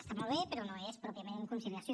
està molt bé però no és pròpiament conciliació